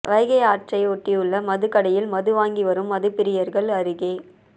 வைகை ஆற்றை ஒட்டியுள்ள மதுக்கடையில் மது வாங்கி வரும் மதுப்பிரியர்கள் அருகே